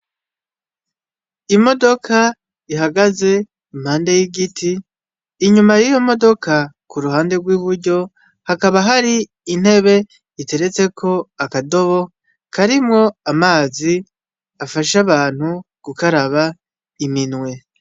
Imodoka ihagaze impande y'igiti, inyuma y'iyo modoka kuruhande kw'iburyo, hakaba hari intebe iteretseko akadobo karimwo amazi, afasha abantu gukaraba iminwe.